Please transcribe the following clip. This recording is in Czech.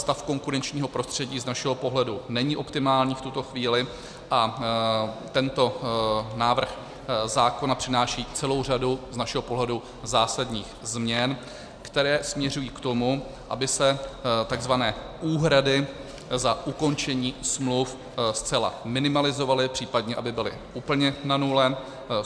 Stav konkurenčního prostředí z našeho pohledu není optimální v tuto chvíli a tento návrh zákona přináší celou řadu z našeho pohledu zásadních změn, které směřují k tomu, aby se tzv. úhrady za ukončení smluv zcela minimalizovaly, případně aby byly úplně na nule.